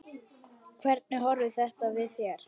Hvernig horfir þetta við þér?